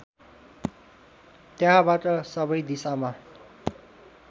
त्यहाँबाट सबै दिशामा